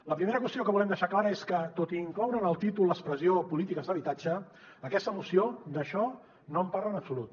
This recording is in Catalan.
la primera qüestió que volem deixar clara és que tot i incloure en el títol l’expressió polítiques d’habitatge aquesta moció d’això no en parla en absolut